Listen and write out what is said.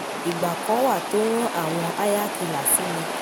ìgbà kan wà tó rán àwọn háyákílà sí mi